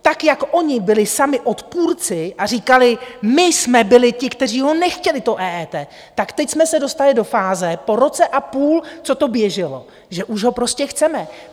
Tak jak oni byli sami odpůrci a říkali: My jsme byli ti, kteří ho nechtěli, to EET, tak teď jsme se dostali do fáze po roce a půl, co to běželo, že už ho prostě chceme.